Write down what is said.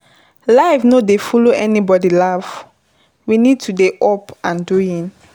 Life no dey follow anybody laff, we need to dey up and doing